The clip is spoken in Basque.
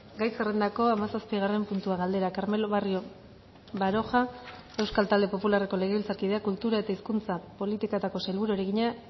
gai zerrendako hamazazpigarren puntua galdera carmelo barrio baroja euskal talde popularreko legebiltzarkideak kultura eta hizkuntza politiketako sailburuari egina